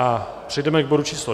A přejdeme k bodu číslo